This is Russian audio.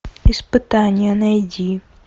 испытание найди